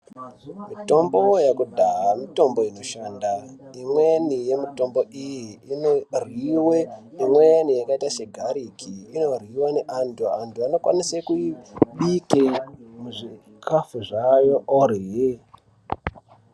Mitombo yekudhaya mitombo inoshanda imweni yemitombo iyi inoryiwe imweni yakaita segariki inoryiwe ngeantu antu anokwanisa kuibikire muchikafu orya .